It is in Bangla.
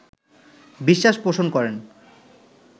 বিশ্বাস পোষণ করেন